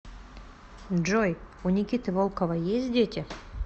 джой у никиты волкова есть дети